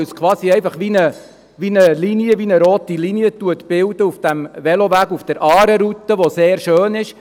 Diese Strecke bildet eine Art rote Linie auf der Aare-Route, welche sehr schön ist.